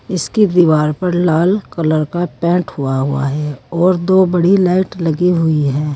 इसकी दीवार पर लाल कलर का पेंट हुआ हुआ है और दो बड़ी लाइट लगी हुई है।